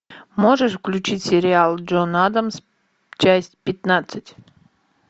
можешь включить сериал джон адамс часть пятнадцать